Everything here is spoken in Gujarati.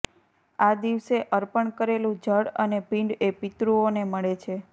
આ દિવસે અર્પણ કરેલું જળ અને પિંડ એ પિતૃઓને મળે છે